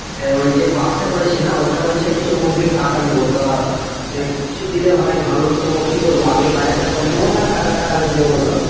আহ ওই যে বাস টা করেছি না ওটা বলছে কিছু অগ্রিম টাকা নেবো তা আহ কিছু দিলে হয় ভালো তো কি করব আগে বাজার টা করে নেবো না টাকাটা আগে দেবো বলতো।